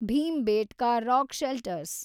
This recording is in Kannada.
Bhimbetka rock shelters